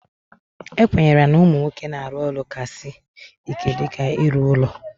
E kwenyere na ụmụ nwoke na-arụ ọrụ ka sị ike dịka ịrụ ụlọ